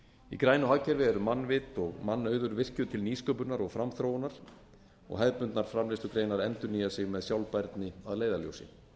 í grænu hagkerfi eru mannvit og mannauður virkjuð til nýsköpunar og framþróunar og hefðbundnar framleiðslugreinar endurnýja sig með sjálfbærni að leiðarljósi